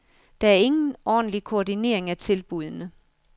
Der er ingen ordentlig koordinering af tilbudene.